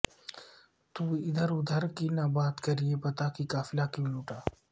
تو ادھر ادھر کی نہ بات کر یہ بتا کہ قافلہ کیوں لٹا